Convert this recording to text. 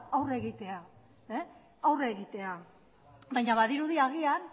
aurre egitea baina badirudi agian